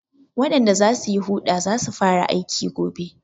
Waɗanda za su yi huɗa za su fara aiki gobe.